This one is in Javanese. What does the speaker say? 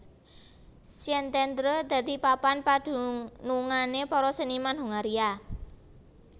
Szentendre dadi papan padunungané para seniman Hongaria